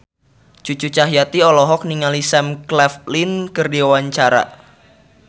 Cucu Cahyati olohok ningali Sam Claflin keur diwawancara